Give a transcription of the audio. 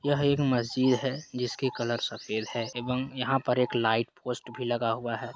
यह एक मस्जिद है जिसके कलर सफेद है एवम यहाँ पर एक लाइट पोस्ट भी लगा हुआ है।